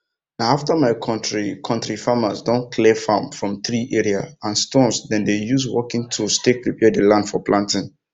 na after my kontri kontri farmers don clear farm from tree area and stones dem dey use working tools take prepare the land for planting